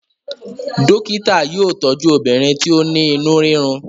dókítà yóò tọju obìnrin ti o ní inú rirun.